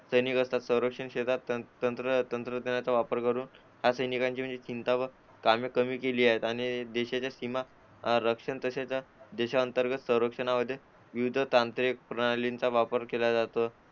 सैनिक असतात संरक्षण क्षेत्रात तंत्रज्ञानाचा वापर करून असे चिंता व कामे कमी केली आहेत आणि ते देशांच्या सीमा रक्षा तसेच देशांतर्गत संरक्षणामध्ये विविध तांत्रिक प्रणालींचा वापर केला जातो.